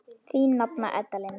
Þín nafna Edda Lind.